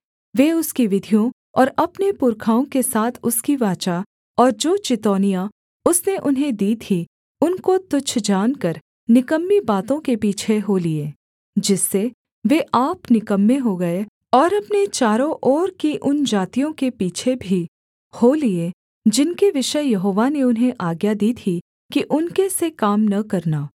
वे उसकी विधियों और अपने पुरखाओं के साथ उसकी वाचा और जो चितौनियाँ उसने उन्हें दी थीं उनको तुच्छ जानकर निकम्मी बातों के पीछे हो लिए जिससे वे आप निकम्मे हो गए और अपने चारों ओर की उन जातियों के पीछे भी हो लिए जिनके विषय यहोवा ने उन्हें आज्ञा दी थी कि उनके से काम न करना